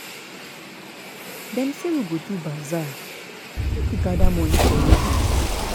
Dem say we go do bazaar make we gather moni for widows.